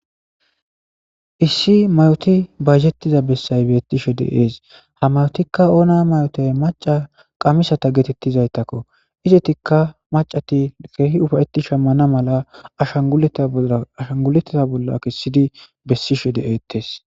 Issi mayoti bajjetiza bessay beettishe deees ha mayotikka oona mayotay maca qamisata geetettizaytakko izetikka macati keehi ufayeti shammana mala sashanguletta bolla kessidi bessishe de7eetes.